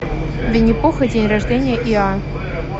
винни пух и день рождения иа